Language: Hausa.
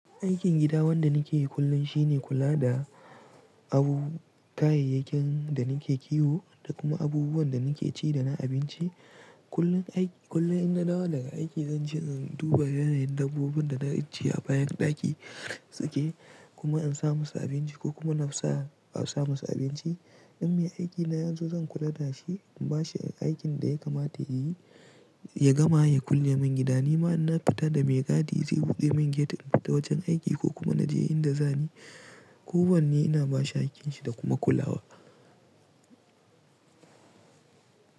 Aikin gida wanda nike yi kullum shine kula da abun, kayayyakin da nike kiwo da kuma abubuwan da nike ci da na abinci. Kullum aiki, kullum in na dawo daga aiki zanje in duba yanayin dabbobin da na ajiye a bayan daki suke kuma in sa musu abinci ko kuma na sa a sa musu abinci. In me aiki na yazo zan kula da shi, in ba shi aikin da ya kamata ya yi, ya gama ya kulle min gida. Ni ma ina fita da mai gadi zai buɗe man gate in fita wajen aiki ko kuma na je inda zani. Ko wanne ina ba shi aikinshi da kuma kulawa.